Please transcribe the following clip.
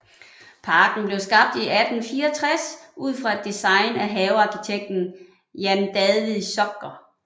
Parken blev skabt i 1864 ud fra et design af havearkitekten Jan David Zocher